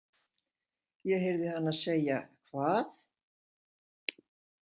Ég heyrði hana segja: Hvað!